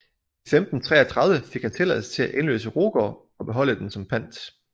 I 1533 fik han tilladelse til at indløse Rugård og beholde den som pant